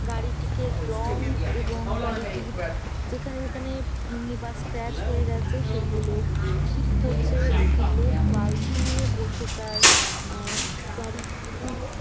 গাড়িটিকে রং এবং গাড়িটির যেখানে যেখানে ভেঙে বা স্ক্র্যাচ হয়ে গেছে সেইগুলো ঠিক করছে। একটি লোক বালতি নিয়ে বসে তার আহ --